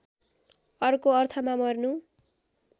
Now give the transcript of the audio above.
अर्को अर्थमा मर्नु